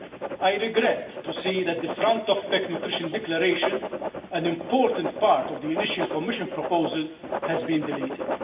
I regret to see that the front of pack' nutrition declaration an important part of the initial Commission proposal has been deleted.